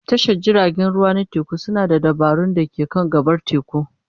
Tashar jiragen ruwa na teku suna da dabarun da ke kan gabar teku.